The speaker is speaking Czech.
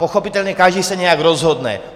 Pochopitelně každý se nějak rozhodne.